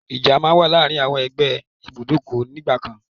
Ìjà má n wà láàrin àwọn ẹ́gbẹ́ ìbùdókọ̀ nígbàkan.